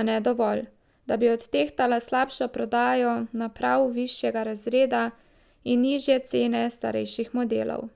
a ne dovolj, da bi odtehtala slabšo prodajo naprav višjega razreda in nižje cene starejših modelov.